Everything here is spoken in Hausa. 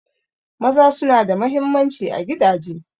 Maza suna da mahimmanci a gidaje.